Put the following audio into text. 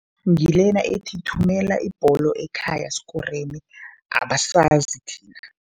Ngilena ethi, thumela ibholo ekhaya sikoreni, abasazi thina.